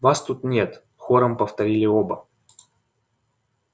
вас тут нет хором повторили оба